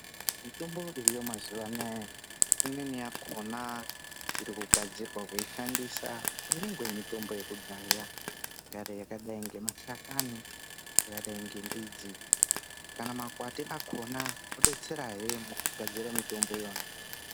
Mitombo iriyo yemazuwa anaya imweni yakona irikugadzirwa kuishandisa kunyange mitombo yekudhaya ingadai ngemashakani, ingadai ngemidzi kana makwati akona kudetserahe mukugadzira mitombo iyona.